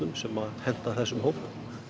sem henta þessum hóp